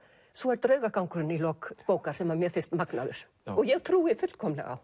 svo er draugagangurinn í lok bókar sem mér finnst magnaður og ég trúi fullkomlega